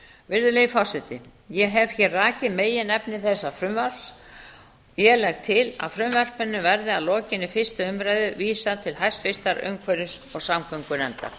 virðulegi forseti ég hef hér rakið meginefni þessa frumvarps og legg til að því verði að lokinni fyrstu umræðu vísað til háttvirtrar umhverfis og samgöngunefndar